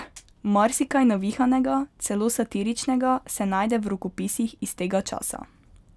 Marsikaj navihanega, celo satiričnega se najde v rokopisih iz tega časa.